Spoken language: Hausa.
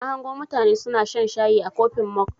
Na hango mutane suna shan shayi a kofin mog.